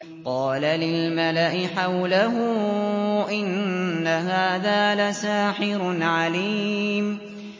قَالَ لِلْمَلَإِ حَوْلَهُ إِنَّ هَٰذَا لَسَاحِرٌ عَلِيمٌ